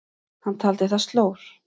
Hann taldi það slór.